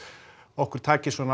okkur takist svona